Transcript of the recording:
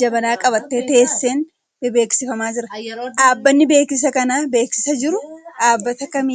jabanaa qabattee teesseen bebeeksifamaa jira. Dhaabbanni beeksisa kana beeksisaa jiru dhaabbata kamii dha?